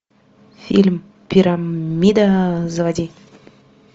фильм пирамида заводи